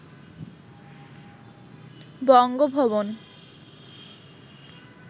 Bangabhaban